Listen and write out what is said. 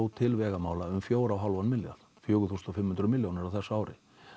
til vegamála um fjóra og hálfan milljarð fjögur þúsund fimm hundruð milljónir á þessu ári